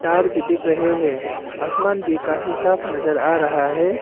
तार भी दिख रहे हैं आसमान भी काफी साफ नजर आ रहा है।